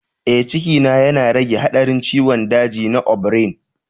Ee, ciki yana rage haɗarin ciwon daji na ovarian.